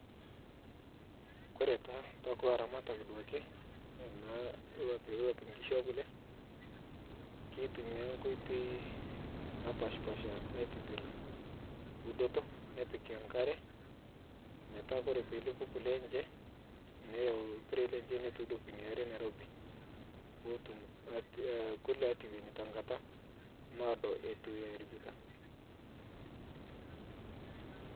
Kore taa to kuloo laaramat duake naa loipie nkishuu e kulee ketumia nkotei napashpasha aitibiir udotoo nipiik enkare metaa kore pee elepuu kulee enchee, niyeu lpiere lenchee neitodooki enia aare nairobi poo otuum kulee aitewueni ta ng'ataa loodo etuu erabikaa.